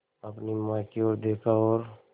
अपनी माँ की ओर देखा और